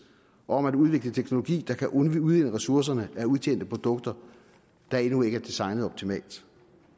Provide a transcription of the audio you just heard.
og om at udvikle teknologi der kan udvinde ressourcerne af udtjente produkter der endnu ikke er designet optimalt